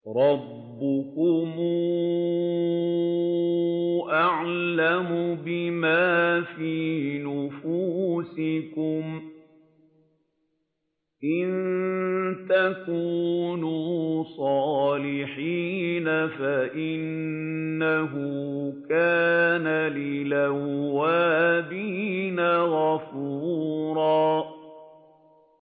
رَّبُّكُمْ أَعْلَمُ بِمَا فِي نُفُوسِكُمْ ۚ إِن تَكُونُوا صَالِحِينَ فَإِنَّهُ كَانَ لِلْأَوَّابِينَ غَفُورًا